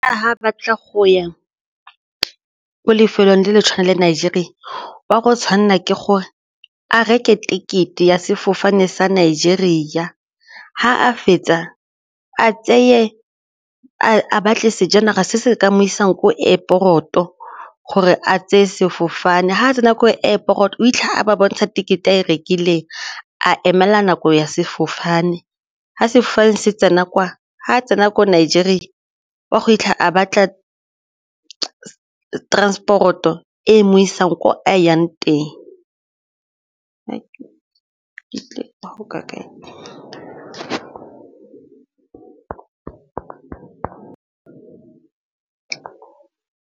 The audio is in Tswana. Ga batla go ya ko lefelong le le tshwanela Nigeria o a go tshwanela ke gore a reke ticket-e ya sefofane sa Nigeria, ga a fetsa a tseye, a batle sejanaga se se ka mo isang ko airport-o gore a tseye sefofane ga a tsena ko airport o fitlha a ba bontsha ticket-e e rekileng a emela nako ya sefofane ga se tsena kwa ga tsena ko Nigeria o a go fitlha a batla transport-o e mo isang ko a yang teng.